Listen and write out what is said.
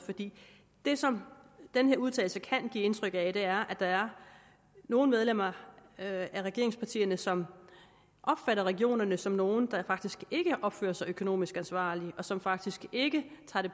det som denne udtalelse kan give indtryk af er at der er nogle medlemmer af regeringspartierne som opfatter regionerne som nogle der faktisk ikke opfører sig økonomisk ansvarligt og som faktisk ikke